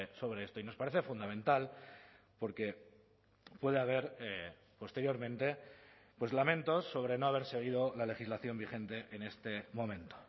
sobre esto y nos parece fundamental porque puede haber posteriormente pues lamento sobre no haber seguido la legislación vigente en este momento